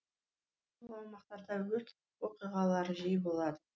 бұл аумақтарда өрт оқиғалары жиі болады